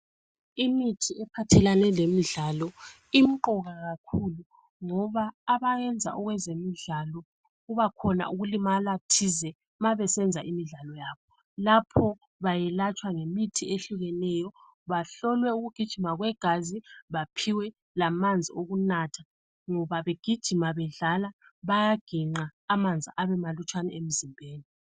Imithi ephathelane lemidlalo imqoka kakhulu ngoba abayenza okwezemidlalo kubakhona ukulimala thize mabesenza imidlalo yabo lapho bayelatshwa ngemithi eyehlukeneyo bahlolwe ukugijima kwegazi baphiwe lamanzi wokunatha ngoba begijima bedlala bayaginqa amanzi abe malutshwana emzimbeni